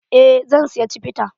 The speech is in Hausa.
Eh zan siya cibita.